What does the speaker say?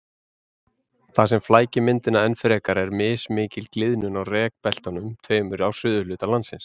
Það sem flækir myndina enn frekar er mismikil gliðnun á rekbeltunum tveimur á suðurhluta landsins.